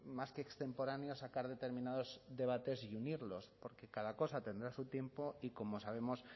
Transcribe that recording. más que extemporáneo sacar determinados debates y unirlos porque cada cosa tendrá su tiempo y como sabemos